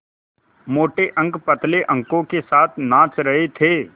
मोटे अंक पतले अंकों के साथ नाच रहे थे